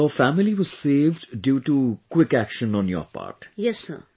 So your family was saved due to quick action on your part